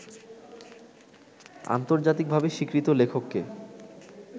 আন্তর্জাতিকভাবে স্বীকৃত লেখকে